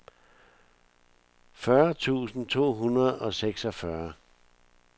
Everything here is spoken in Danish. fyrre tusind to hundrede og seksogfyrre